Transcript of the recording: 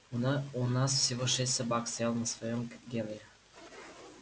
у на у нас всего шесть собак стоял на своём как генри